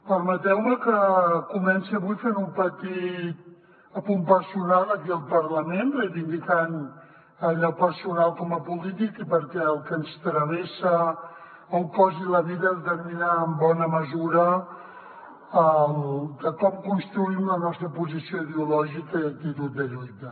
permeteu me que comenci avui fent un petit apunt personal aquí al parlament reivindicant allò personal com a polític perquè el que ens travessa el cos i la vida determina en bona mesura com construïm la nostra posició ideològica i actitud de lluita